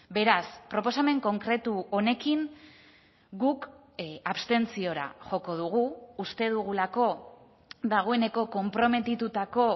beraz proposamen konkretu honekin guk abstentziora joko dugu uste dugulako dagoeneko konprometitutako